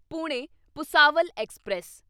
Pune Bhusawal express